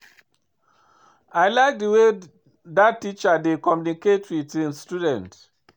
I like the way dat teacher dey communicate with im students